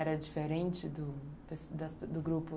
Era diferente do das das do grupo?